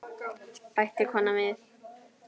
bætti konan við.